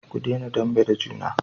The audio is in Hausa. ku dena dambe da juna